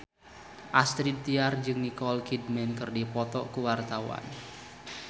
Astrid Tiar jeung Nicole Kidman keur dipoto ku wartawan